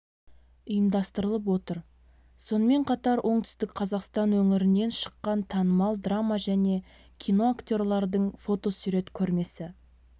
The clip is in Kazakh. ұйымдастырылып отыр сонымен қатар оңтүстік қазақстан өңірінен шыққан танымал драма және кино актерлардың фото-сурет көрмесі